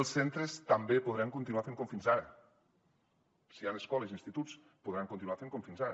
els centres també podran continuar fent com fins ara si hi han escoles i instituts podran continuar fent com fins ara